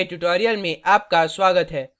meet the gimp के tutorial में आपका स्वागत है